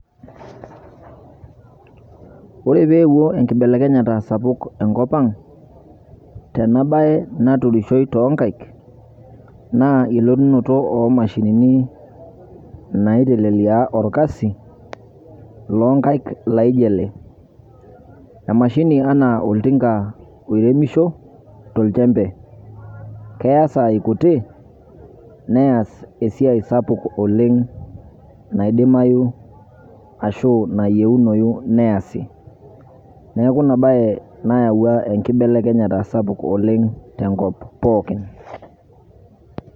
Ore peewuo enkibelekenyata sapuk enkop ang' tena baye naturishoi to nkaek naa elotunoto o mashinini naitelelia orkasi loo nkaek laijo ele. Emashini naa oltika oiremisho tolchembe, keyaa sai kutikik neas esia sapuk oleng' naidimayu ashu nayeunoyu neasi. Neeku ina baye nayau enkibelekenyata sapuk oleng' tenkop pookin.